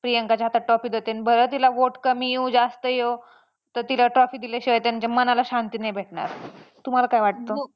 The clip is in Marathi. प्रियांकाच्या हातात trophy देतेन बरं तिला vote कमी येऊ जास्त येऊ तर तिला trophy दिल्याशिवाय त्यांच्या मनाला शांती नाही भेटणार तुम्हाला काय वाटतं?